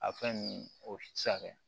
A fɛn nunnu o ti se ka kɛ